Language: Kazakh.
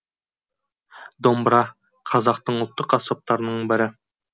домбыра қазақтың ұлттық аспаптарының бірі